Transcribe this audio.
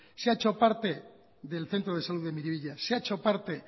se ha hecho parte del centro de salud de miribilla se ha hecho parte